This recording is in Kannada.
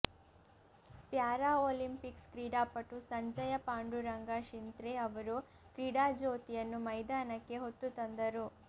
ಪ್ಯಾರಾ ಓಲಂಪಿಕ್ಸ್ ಕ್ರೀಡಾಪಟು ಸಂಜಯ ಪಾಂಡುರಂಗ ಶಿಂಥ್ರೆ ಅವರು ಕ್ರೀಡಾಜ್ಯೋತಿಯನ್ನು ಮೈದಾನಕ್ಕೆ ಹೊತ್ತುತಂದರು